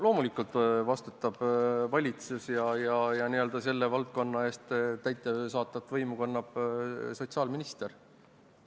Loomulikult vastutab valitsus ja selles valdkonnas kannab täidesaatvat võimu sotsiaalminister.